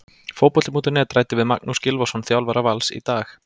Fótbolti.net ræddi við Magnús Gylfason, þjálfara Vals, í dag.